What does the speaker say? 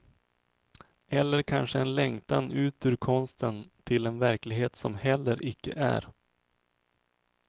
Eller kanske en längtan ut ur konsten till en verklighet som heller icke är.